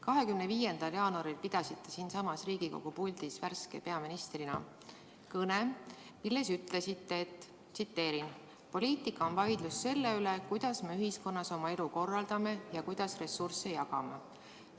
25. jaanuaril pidasite siinsamas Riigikogu puldis värske peaministrina kõne, milles ütlesite: "Poliitika on vaidlus selle üle, kuidas me ühiskonnas oma elu korraldame ja kuidas ressursse jagame.